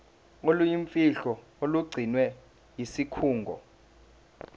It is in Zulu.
oluyimfihlo olugcinwe yisikhungo